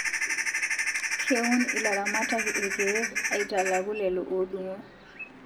Keun ilaramatak irkeek aitalakuu lelo odungo